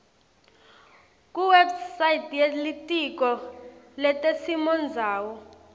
kuwebsite yelitiko letesimondzawo